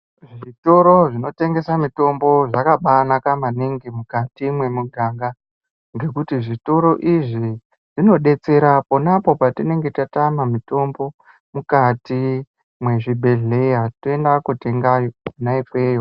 Zvitoro zvinotengesa mitombo zvakabanaka maningi mukati memuganga. Ngekuti zvitoro izvi zvinobetsera ponapo patinenge tatama mutombo, mukati mwezvibhedhleya toenda kotenga kona ikweyo.